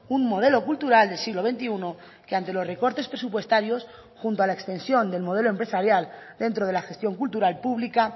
un modelo cultural del siglo veintiuno que ante los recortes presupuestarios junto a la extensión del modelo empresarial dentro de la gestión cultural pública